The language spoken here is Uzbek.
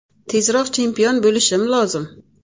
Tezroq chempion bo‘lishim lozim.